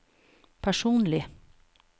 personlig